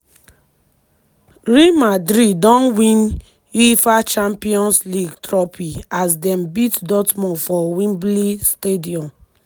real madrid don win di uefa champions league trophy as dem beat dortmund for wembley stadium.